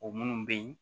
O minnu bɛ yen